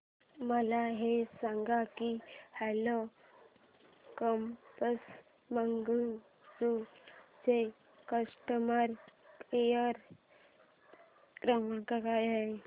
मला हे सांग की ओला कॅब्स बंगळुरू चा कस्टमर केअर क्रमांक काय आहे